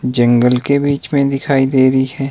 जंगल के बीच में दिखाई दे रही है।